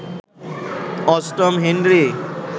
অষ্টম হেনরি